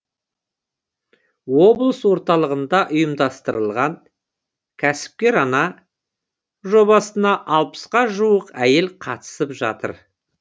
облыс орталығында ұйымдастырылған кәсіпкер ана жобасына алпысқа жуық әйел қатысып жатыр